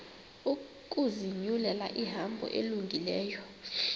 ukuzinyulela ihambo elungileyo